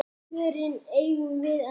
Svörin eigum við ekki.